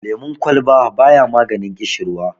lemon kwalba ba ya maganin kishirwa